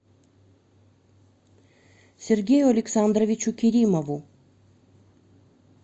сергею александровичу керимову